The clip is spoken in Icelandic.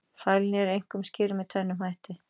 Fælni er einkum skýrð með tvennum hætti.